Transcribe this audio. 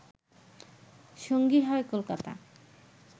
সঙ্গী হয় কলকাতা